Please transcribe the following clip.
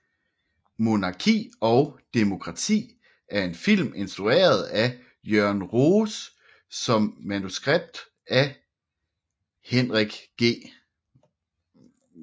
Monarki og demokrati er en film instrueret af Jørgen Roos efter manuskript af Henrik G